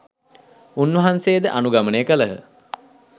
උන්වහන්සේ ද අනුගමනය කළහ.